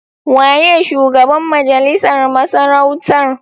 Waye shugaban majalisar masarautar?